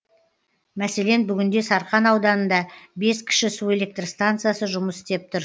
мәселен бүгінде сарқан ауданында бес кіші су электр станциясы жұмыс істеп тұр